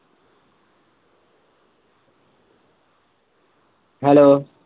hello